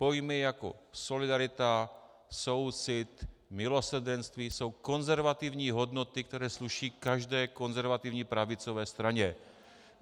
Pojmy jako solidarita, soucit, milosrdenství jsou konzervativní hodnoty, které sluší každé konzervativní pravicové straně.